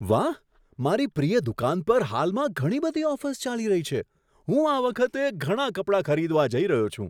વાહ! મારી પ્રિય દુકાન પર હાલમાં ઘણી બધી ઓફર્સ ચાલી રહી છે. હું આ વખતે ઘણા કપડાં ખરીદવા જઈ રહ્યો છું.